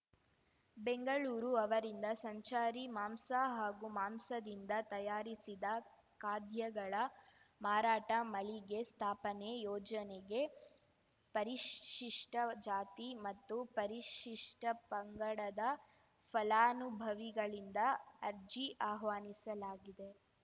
ಬೆಂಗಳೂರು ಅವರಿಂದ ಸಂಚಾರಿ ಮಾಂಸ ಹಾಗೂ ಮಾಂಸದಿಂದ ತಯಾರಿಸಿದ ಖಾದ್ಯಗಳ ಮಾರಾಟ ಮಳಿಗೆ ಸ್ಥಾಪನೆ ಯೋಜನೆಗೆ ಪರಿಶಿಷ್ಟಜಾತಿ ಮತ್ತು ಪರಿಶಿಷ್ಟಪಂಗಡದ ಫಲಾನುಭವಿಗಳಿಂದ ಅರ್ಜಿ ಆಹ್ವಾನಿಸಲಾಗಿದೆ